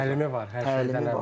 Təlimi var, hər şeydən əvvəl.